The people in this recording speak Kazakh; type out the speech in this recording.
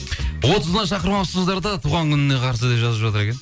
отызына шақырмапсыздар да туған күніне қарсы деп жазып жатыр екен